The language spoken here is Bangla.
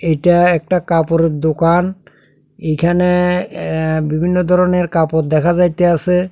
এটা একটা কাপড়ের দোকান এখানে এ বিভিন্ন ধরনের কাপড় দেখা যাইতেআসে।